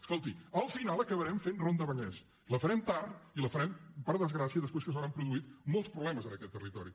escolti al final acabarem fent la ronda vallès la farem tard i la farem per desgràcia després que s’hauran produït molts problemes en aquest territori